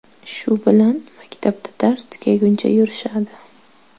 Shu bilan maktabda dars tugaguncha yurishadi.